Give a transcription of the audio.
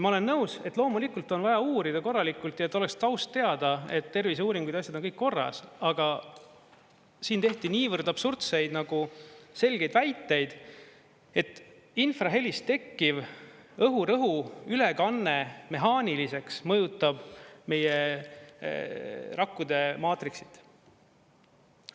Ma olen nõus, et loomulikult on vaja uurida korralikult ja et oleks taust teada, et terviseuuringud ja asjad on kõik korras, aga siin tehti niivõrd absurdseid nagu selgeid väiteid, et infrahelist tekkiv õhurõhu ülekanne mehaaniliseks mõjutab meie rakkude maatriksit.